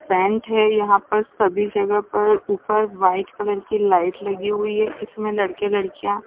फैन्ट है यहाँ पर ऊपर वाइट कलर की लाइट लगी हुई है इसमें लड़के लड़कियाँ--